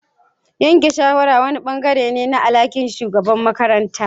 yanke shawara wani ɓangare ne na alhakin shugabar makaranta.